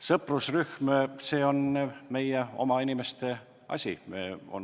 Sõprusrühm – see on meie oma inimeste asi.